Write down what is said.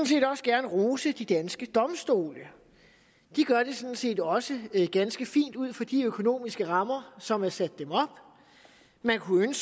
set også gerne rose de danske domstole de gør det sådan set også ganske fint ud fra de økonomiske rammer som er sat dem op man kunne